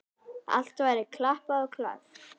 Allt væri klappað og klárt.